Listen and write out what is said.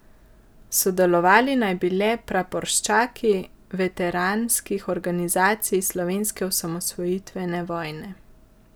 Sodelovali naj bi le praporščaki veteranskih organizacij slovenske osamosvojitvene vojne.